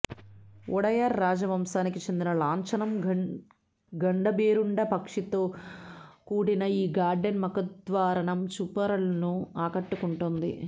ఓడయార్ రాజవంశానికి చెందిన లాంఛనం గండభేరుండ పక్షితో కూడిన ఈ గార్డెన్ ముఖ ద్వారానం చూపరులను ఆకట్టు కుంటోంది